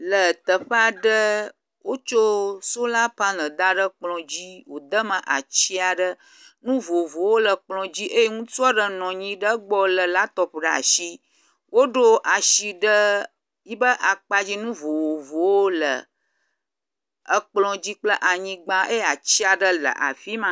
Le teƒe aɖe, wotso sola panel da ɖe kplɔ dzi, wòde me ati aɖe. Nu vovovowo le kplɔ dzi eye ŋutsu aɖe nɔ anyi ɖe gbɔ lé laptɔp ɖe asi. Woɖo asi ɖe yibe akpadzi, nu vovovowo le ekplɔ dzi kple anyigba eye ati aɖe le afi ma.